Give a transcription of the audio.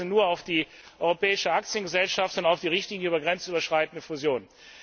Ich verweise nur auf die Europäische Aktiengesellschaft und auf die Richtlinie der grenzüberschreitenden Fusion.